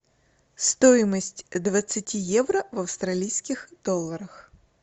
стоимость двадцати евро в австралийских долларах